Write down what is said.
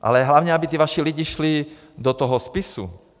Ale hlavně aby ti vaši lidé šli do toho spisu.